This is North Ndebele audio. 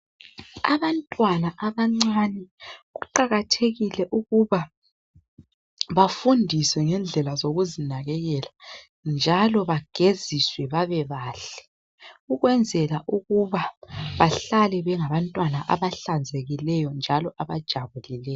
Abantwana abancane kuqakathekile ukuba bafundiswe ngendlela zokuzinakekela. Njalo bageziswe babe bahle. Ukwenzela ukuba bahlale bengabantwana abahlanzekileyo njalo abajabulileyo.